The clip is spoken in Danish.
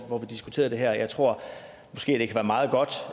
og hvor vi diskuterede det her jeg tror måske det kan være meget godt